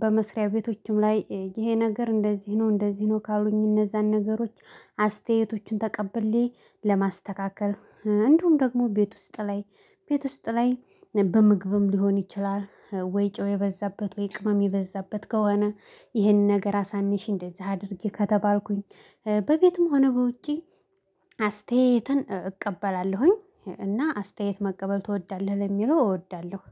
በመስሪያ ቤቶችም ላይ ይሄ ነገር እንደዚህ ነው እንደዚህ ነው ካሉኝ እነዛን ነገሮች አስተያየቶቹን ተቀብሌ ለማስተካከል እንዲሁም ደግሞ ቤት ውስጥ ላይ ቤት ውስጥ ላይ በምግብም ሊሆን ይችላል ወይ ጫው የበዛበት ወይ ቅመም የበዛበት ከሆነ ይህንን ነገር አሳንሽ እንደዚህ አድርጌ ከተባልኩኝ በቤትም ሆነ በውጪ። አስተያየትን እቀበላለሁኝ። እና አስተያየት መቀበል ትወዳለህ ለሚለው እወዳለሁ